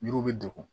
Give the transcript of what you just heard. Yiriw bɛ degun